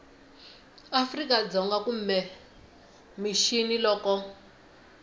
afrika dzonga kumbe mixini loko